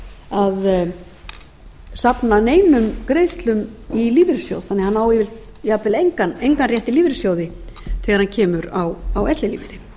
að safna neinum greiðslum í lífeyrissjóð þannig að hann á jafnvel engan rétt í lífeyrissjóði þegar hann kemur á ellilífeyri auk